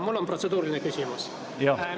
Mul on protseduuriline küsimus.